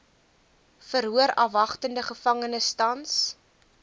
verhoorafwagtende gevangenes tans